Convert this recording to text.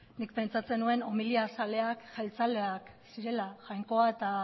nik pentsatzen nuen homilia zaleak jeltzaleak zirela jainkoa